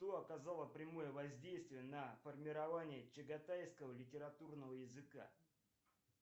кто оказала прямое воздействие на формирование чаготайского литературного языка